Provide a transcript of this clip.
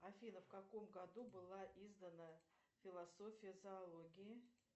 афина в каком году была издана философия зоологии